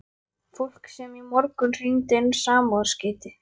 Fólk sem í morgun hringdi inn samúðarskeyti.